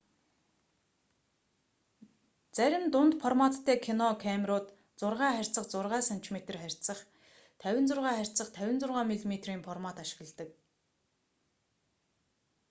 зарим дунд форматтай кино камерууд 6 харьцах 6 см харьцах 56 харьцах 56 мм-ийн формат ашигладаг